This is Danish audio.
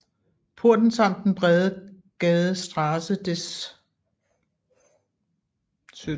Porten samt den brede gade Straße des 17